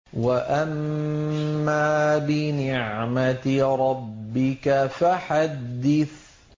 وَأَمَّا بِنِعْمَةِ رَبِّكَ فَحَدِّثْ